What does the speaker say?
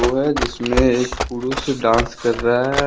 है जिसमें एक पुरुष डांस कर रहा है ।